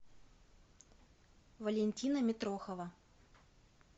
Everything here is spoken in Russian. валентина митрохова